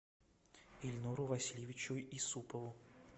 ильнуру васильевичу исупову